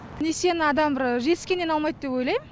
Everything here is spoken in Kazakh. несиені адам бір жетіскеннен алмайт деп ойлайм